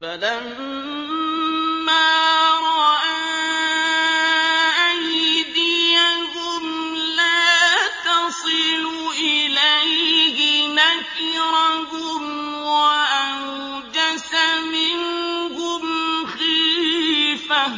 فَلَمَّا رَأَىٰ أَيْدِيَهُمْ لَا تَصِلُ إِلَيْهِ نَكِرَهُمْ وَأَوْجَسَ مِنْهُمْ خِيفَةً ۚ